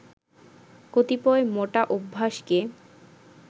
কতিপয় মোটা অভ্যাসকে